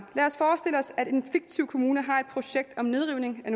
af at en fiktiv kommune har et projekt om nedrivning af